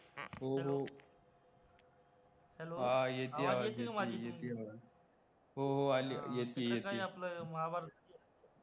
हो हो, हा येति आवाज तुमची येति आवाज, हो अली येतीये